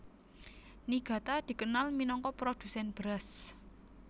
Niigata dikenal minangka produsèn beras